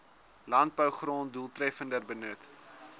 landbougrond doeltreffender benut